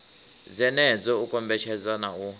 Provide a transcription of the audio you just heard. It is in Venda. dzenedzo u kombetshedza na u